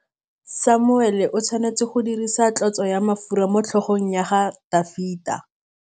Samuele o tshwanetse go dirisa tlotsô ya mafura motlhôgong ya Dafita.